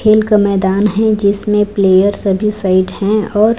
खेल का मैदान है जिसमें प्लेयर सभी साइड हैं और--